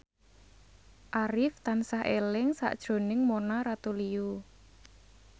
Arif tansah eling sakjroning Mona Ratuliu